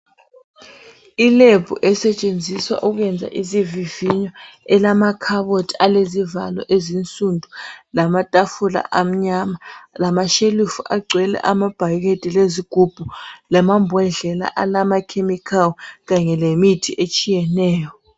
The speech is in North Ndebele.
I"lab" esetshenziswa ukwenza isivivinyo elamakhabothi alezivalo ezinsundu, lamatafula amnyama, lamashelufu agcwele amabhakede lezigubhu, lamambodlela alamakhemikhali kanye lemithi etshiyeneyo.